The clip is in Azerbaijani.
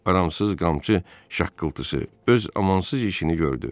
Amansız qamçı şaqqıltısı öz amansız işini gördü.